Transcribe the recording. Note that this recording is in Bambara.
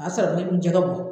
A y'a sɔrɔ ne dun jɛgɛ bɔ